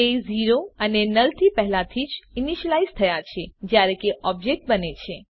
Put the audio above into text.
તે 0 અને નુલ થી પહેલાથી જ ઇનીશલાઈઝ થયા છે જયારે ઓબ્જેક્ટ બને છે